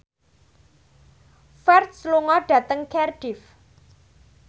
Ferdge lunga dhateng Cardiff